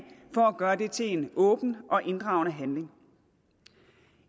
for at gøre det til en åben og inddragende handling